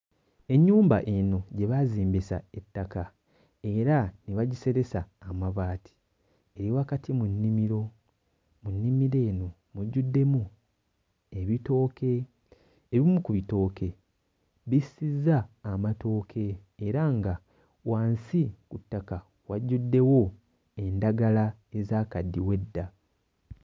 Ennyumba eno gye baazimbisa ettaka era ne bagiseresa amabaati eri wakati mu nnimiro. Mu nnimiro eno mujjuddemu ebitooke. Ebimu ku bitooke bissizza amatooke era nga wansi ku ttaka wajjuddewo endagala ezaakaddiwa edda.